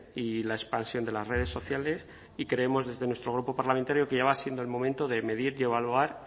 y la expansión de las redes sociales y creemos desde nuestro grupo parlamentario que ya va siendo el momento de medir y evaluar